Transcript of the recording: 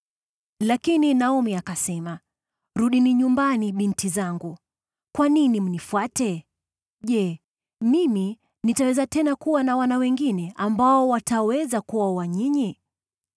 Lakini Naomi akasema, “Rudini nyumbani, binti zangu. Kwa nini mnifuate? Je, mimi nitaweza tena kuwa na wana wengine ambao wataweza kuwaoa ninyi?